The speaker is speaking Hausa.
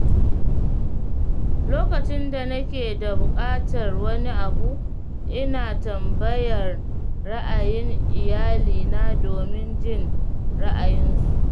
Lokacin da nake da buƙatar wani abu, ina tambayar ra’ayin iyalina domin jin ra'ayinsu.